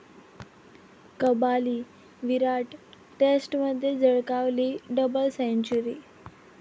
कबाली' विराट, टेस्टमध्ये झळकावली double century!